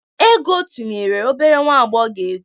Ego tunyere obere nwa agbọghọ egwu.